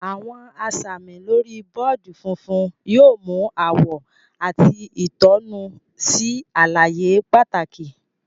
Awọn asami lori bọọdi fúnfún yóò mu awọ àti itonu sí àlàyé pàtàkì.